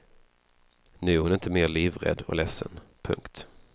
Nu är hon inte mer livrädd och ledsen. punkt